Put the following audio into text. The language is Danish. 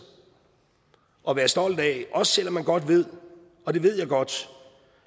at være stolt af også selv om man godt ved og det ved jeg godt